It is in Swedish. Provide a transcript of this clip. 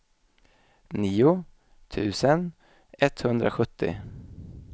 nio tusen etthundrasjuttio